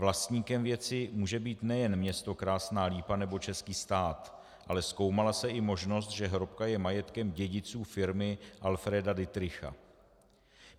Vlastníkem věci může být nejen město Krásná Lípa nebo český stát, ale zkoumala se i možnost, že hrobka je majetkem dědiců firmy Alfreda Dittricha.